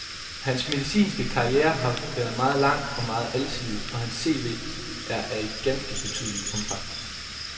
Hans medicinske karriere har været meget lang og meget alsidig, og hans CV er af et ganske betydeligt omfang.